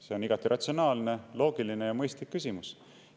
See on igati ratsionaalne, loogiline ja mõistlik küsimus.